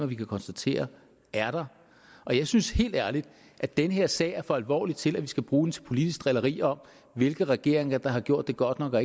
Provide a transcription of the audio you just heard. vi kan konstatere der er og jeg synes helt ærligt at den her sag er for alvorlig til at vi skal bruge den til politiske drillerier om hvilke regeringer der har gjort det godt nok og